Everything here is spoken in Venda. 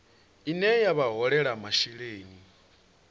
ine ya vha holela masheleni